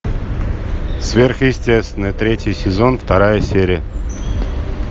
сверхъестественное третий сезон вторая серия